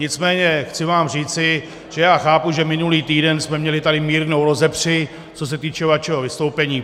Nicméně chci vám říci, že já chápu, že minulý týden jsme tady měli mírnou rozepři, co se týče vašeho vystoupení.